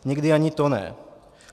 Někdy ani to ne.